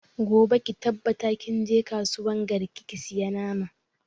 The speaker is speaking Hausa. Gobe ki tabbata kin je kasuwan garki ki saya nama!